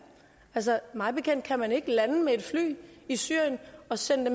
altså mig bekendt kan man ikke lande med fly i syrien og sende